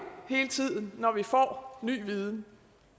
hele tiden når vi får ny viden